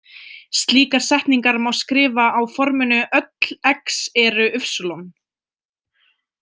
Slíkar setningar má skrifa á forminu „Öll X eru Y“.